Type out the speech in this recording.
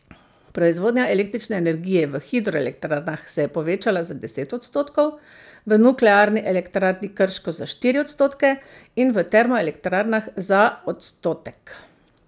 Proizvodnja električne energije v hidroelektrarnah se je povečala za deset odstotkov, v Nuklearni elektrarni Krško za štiri odstotke in v termoelektrarnah za odstotek.